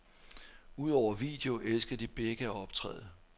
Udover video elsker de begge at optræde.